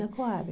Na Coab.